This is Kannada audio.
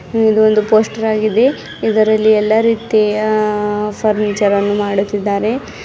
ಇದು ಒಂದು ಪೋಸ್ಟರ್ ಆಗಿದೆ ಇದರಲ್ಲಿ ಎಲ್ಲಾ ರೀತಿಯ ಆ ಫರ್ನಿಚರ್ ಅನ್ನು ಮಾಡುತ್ತಿದ್ದಾರೆ.